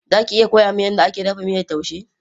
Za ki iya koya min yadda ake dafa miyar taushe?